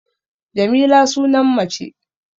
Jamila sunan mace